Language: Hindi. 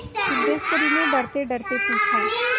सिद्धेश्वर ने डरतेडरते पूछा